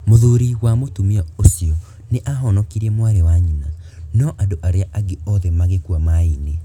Mũthuri wa mũtumia ũcio nĩ aahonokirie mwarĩ wa nyina, no andũ arĩa angĩ othe magĩkua maĩ-inĩ.